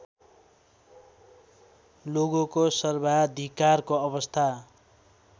लोगोको सर्वाधिकारको अवस्था